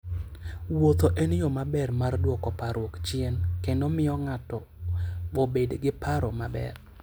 Wuoth en yo maber mar duoko parruok chien kendo miyo ng'ato obed gi paro maber.